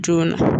Joona